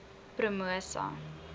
promosa